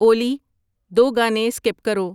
اولی دو گانے اسکپ کرو